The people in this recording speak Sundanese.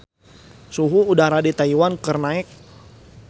Suhu udara di Taiwan keur naek